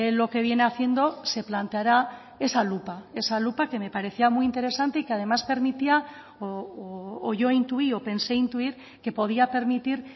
lo que viene haciendo se planteara esa lupa esa lupa que me parecía muy interesante y que además permitía o yo intuí o pensé intuir que podía permitir